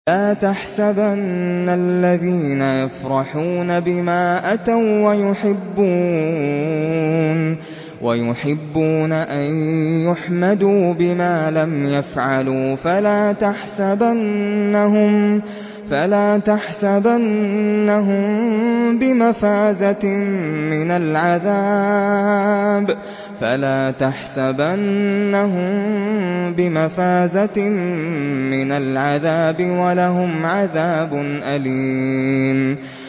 لَا تَحْسَبَنَّ الَّذِينَ يَفْرَحُونَ بِمَا أَتَوا وَّيُحِبُّونَ أَن يُحْمَدُوا بِمَا لَمْ يَفْعَلُوا فَلَا تَحْسَبَنَّهُم بِمَفَازَةٍ مِّنَ الْعَذَابِ ۖ وَلَهُمْ عَذَابٌ أَلِيمٌ